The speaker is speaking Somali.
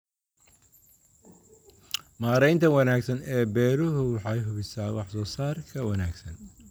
Maareynta wanaagsan ee beeruhu waxay hubisaa wax soo saarka wanaagsan.